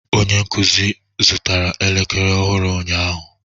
Onye nkuzi zụtara elekere ọhụrụ ụnyaahụ?